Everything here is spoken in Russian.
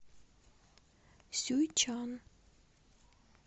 сюйчан